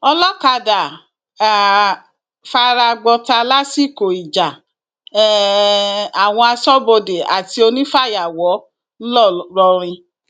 olọkadà um fara gbọta lásìkò ìjà um àwọn aṣọbodè àti onífàyàwọ ńlọrọrìn